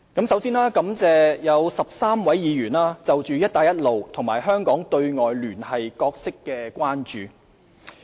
首先，感謝有13位議員就"一帶一路"及香港對外聯繫角色表達關注。